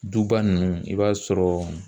Duba nunnu i b'a sɔrɔ